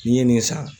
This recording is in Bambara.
N'i ye nin san